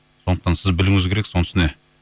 сондықтан сіз білуіңіз керексіз оның үстіне